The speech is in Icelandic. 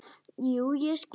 Jú, ég skil.